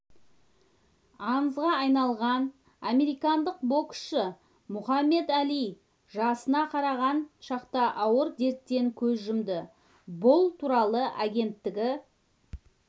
аңызға айналған американдық боксшы мұхаммед әли жасына қараған шақта ауыр дерттен көз жұмды бұл туралы агенттігі